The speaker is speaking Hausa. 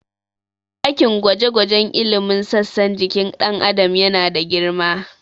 Ɗakin gwaje-gwajen ilimin sassan jikin ɗan Adam yana da girma.